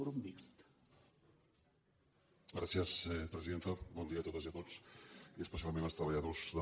bon dia a totes i a tots i especial·ment als treballadors d’a